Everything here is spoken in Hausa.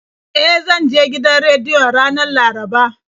E, zan je gidan rediyon ranar Laraba.